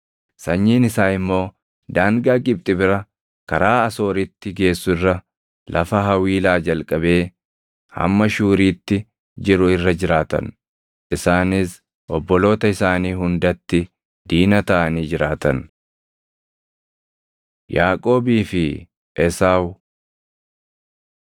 Sanyiin isaa immoo daangaa Gibxi bira, karaa Asooritti geessu irra, lafa Hawiilaa jalqabee hamma Shuuriitti jiru irra jiraatan. Isaanis obboloota isaanii hundatti diina taʼanii jiraatan. Yaaqoobii fi Esaawu